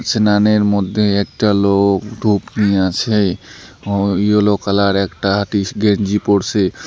স্নানের মধ্যে একটা লোক ধূপ নিয়ে আছে ও ইয়েলো কালার একটা টিস-গেঞ্জি পরসে।